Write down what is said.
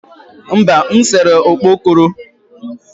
mba, m sere okpokoro